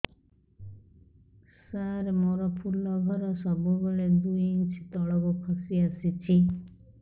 ସାର ମୋର ଫୁଲ ଘର ସବୁ ବେଳେ ଦୁଇ ଇଞ୍ଚ ତଳକୁ ଖସି ଆସିଛି